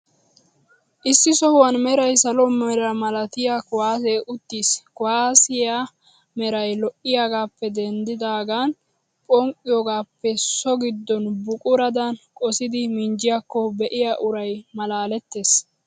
Issi sohuwan meray salo mera malatiyaa kuwaasee uttiis. Kuwaasiyaa meray lo'iyoogaappee denddidaagan phonqqiyogaappe so giddon buquradan qosidi minjjiyaakko be'iya uray malaalettees.